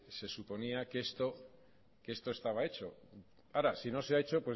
se suponía que esto estaba hecho ahora si no se ha hecho